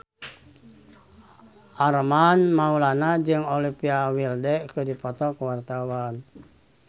Armand Maulana jeung Olivia Wilde keur dipoto ku wartawan